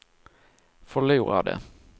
förlorade